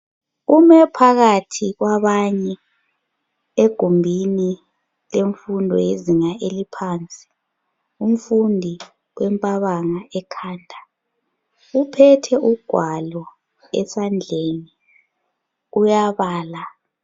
Ume phakathi kwabanye egumbini lemfundo yezinga eliphansi. Umfundi wempabanga ekhanda uphethe ugwalo esandleni uyabala.